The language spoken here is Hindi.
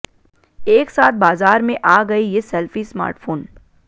एक साथ बाजार में आ गए ये सेल्फी स्मार्टफोन